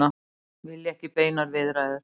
Vilja ekki beinar viðræður